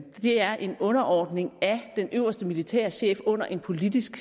er en underordning af den øverste militære chef under en politisk